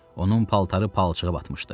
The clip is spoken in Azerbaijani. Onun paltarı palçığa batmışdı.